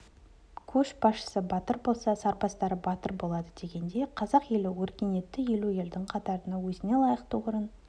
көшбасшысы батыр болса сарбаздары батыл болады дегендей қазақ елі өркениетті елу елдің қатарынан өзіне лайықты орын